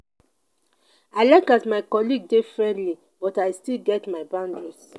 i like as my colleague dey friendly but i still get my boundaries.